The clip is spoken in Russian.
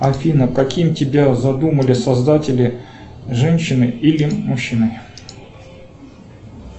афина каким тебя задумали создатели женщиной или мужчиной